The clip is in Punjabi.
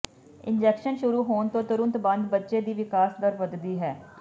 ਇੰਜੈਕਸ਼ਨ ਸ਼ੁਰੂ ਹੋਣ ਤੋਂ ਤੁਰੰਤ ਬਾਅਦ ਬੱਚੇ ਦੀ ਵਿਕਾਸ ਦਰ ਵਧਦੀ ਹੈ